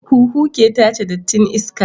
Huhu ke tace dattin iska